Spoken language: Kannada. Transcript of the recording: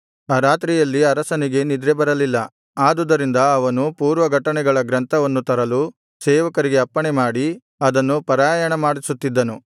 ಆ ರಾತ್ರಿಯಲ್ಲಿ ಅರಸನಿಗೆ ನಿದ್ರೆಬರಲಿಲ್ಲ ಆದುದರಿಂದ ಅವನು ಪೂರ್ವ ಘಟನೆಗಳ ಗ್ರಂಥವನ್ನು ತರಲು ಸೇವಕರಿಗೆ ಅಪ್ಪಣೆಮಾಡಿ ಅದನ್ನು ಪಾರಾಯಣಮಾಡಿಸುತ್ತಿದ್ದನು